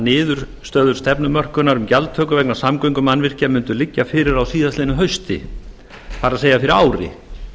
niðurstöður stefnumörkunar um gjaldtöku vegna samgöngumannvirkja mundu liggja fyrir á síðastliðnu hausti það er fyrir ári